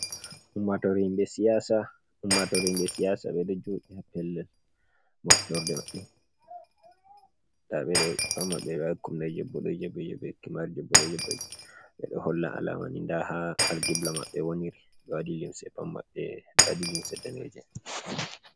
Ummatore himɓe siyasa, ummatore himɓe siyasa ɓeɗo joɗi ha pellel moftorde maɓɓe, nda ɓe ɗo ɓe ɗo holla alamani nda ha algibla maɓbe woniri ɓe waɗi limse pat maɓɓe, ɓe waɗi limse daneje.